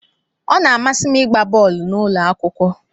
Ọ na-amasị m ịgba bọọlụ n'ụlọ akwụkwọ.